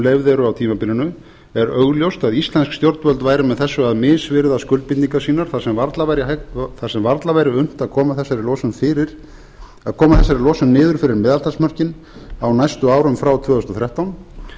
eru á tímabilinu er augljóst að íslensk stjórnvöld væru með þessu að misvirða skuldbindingar sínar þar sem varla væri unnt að koma þessari losun niður fyrir meðaltalsmörkin á næstu árum frá tvö þúsund og þrettán